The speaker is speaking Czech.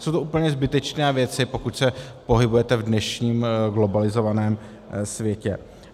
Jsou to úplně zbytečné věci, pokud se pohybujete v dnešním globalizovaném světě.